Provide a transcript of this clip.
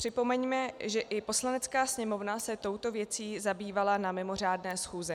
Připomeňme, že i Poslanecká sněmovna se touto věcí zabývala na mimořádné schůzi.